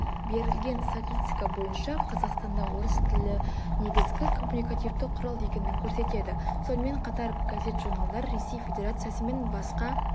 берілген статистика бойынша қазақстанда орыс тілі негізгі коммуникативті құрал екенін көрсетеді сонымен қатар газет журналдар ресей федерациясы мен басқа